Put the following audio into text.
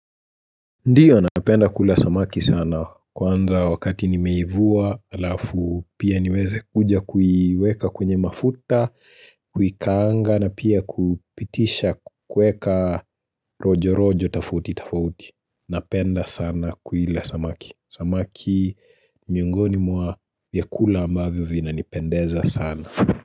Ndiyo napenda kula samaki sana kwanza wakati nimeivua alafu pia niweze kuja kuiweka kwenye mafuta, kuikaanga na pia kupitisha kueka rojo rojo tofauti tofauti. Napenda sana kuila samaki. Samaki miungoni mwa vyakula ambavyo vina nipendeza sana.